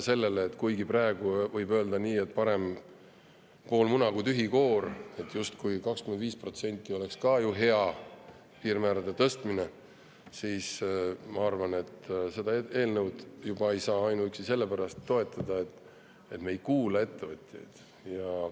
Kuigi praegu võib öelda, et parem pool muna kui tühi koor, et justkui 25% oleks ka hea piirmäärade tõstmine, siis ma arvan, et seda eelnõu ei saa juba ainuüksi selle pärast toetada, et me ei kuula ettevõtjaid.